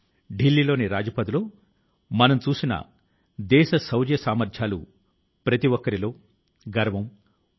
ఈ ఏడేళ్లలో మన్ కీ బాత్ మనసు లో మాట కార్యక్రమం చేస్తున్నప్పుడు ప్రభుత్వం సాధించిన విజయాల గురించి కూడా చర్చించగలిగాను